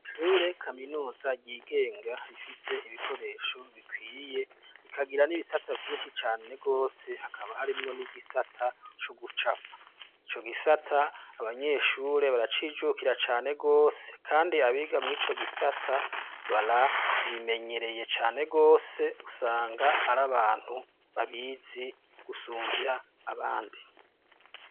Ishure kaminuza ryigenga rifise ibikoresho bikwiye rikagira n'ibisata vyinshi cane gose, hakaba harimwo n'igisata c'ugucapa, ico gisata abanyeshure baracijukira cane gose kandi abiga mw'ico gisata barabimenyereye cane gose usanga ari abantu babizi gusumvya abandi.